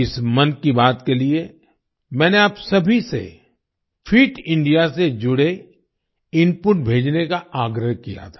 इस मन की बात के लिए मैंने आप सभी से फिट इंडिया से जुड़े इनपुट भेजने का आग्रह किया था